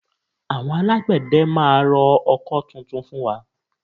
Àwọn Alágbẹ̀dẹ máa rọ ọkọ́ tuntun fún wa